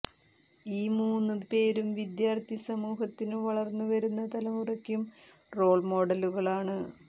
ഈ മൂന്നു പേരും വിദ്യാർഥി സമൂഹത്തിനും വളർന്നു വരുന്ന തലമുറക്കും റോൾ മോഡലുകളാണ്